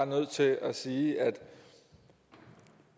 nødt til at sige at